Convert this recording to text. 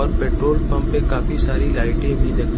और petrol pump पे काफी सारी लाइटें भी लगी--